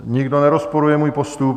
Nikdo nerozporuje můj postup?